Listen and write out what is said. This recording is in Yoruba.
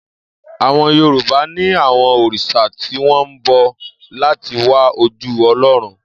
Àwo̩n Yorùbá ní àwo̩n òrìs̩à tí wó̩n bo̩ láti wá ojú O̩ló̩run